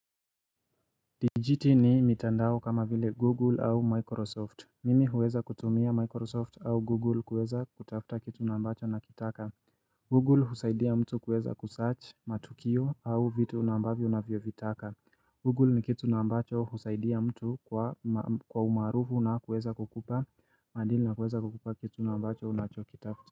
Dijiti ni mitandao kama vile Google au Microsoft. Mimi huweza kutumia Microsoft au Google kuweza kutafta kitu na ambacho na kitaka. Google husaidia mtu kuweza kusaach matukio au vitu unavyovitaka. Google ni kitu na ambacho husaidia mtu kwa umaarufu na kuweza kukupa maadili na kuweza kukupa kitu na ambacho unachokitafta.